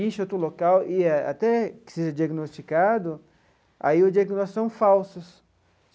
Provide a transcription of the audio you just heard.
Incha outro local e até que seja diagnosticado, aí os diagnósticos são falsos.